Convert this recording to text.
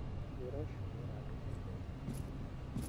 Wĩra ũcio nĩ ũratũhe mbeca nyingĩ mũno.